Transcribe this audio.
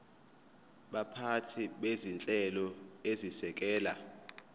baphathi bezinhlelo ezisekela